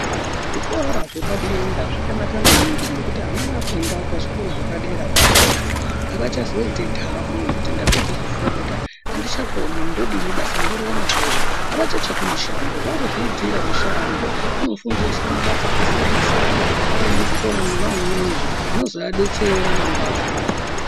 Zvikora zvepadera zvakanaka maningi ngekuti ana afunda pazvikora zvepaderapo apapo avachazoiti ntamo yekuti ndapedze kufunda andichakoni ndodini basa ndorione kuri wvachatsvaki mushando vakuzviitira mushando vanofundiswa mabasa akasiyana siyana vari muzvikora mwona umwomwo zvinozoadetsera mangwani.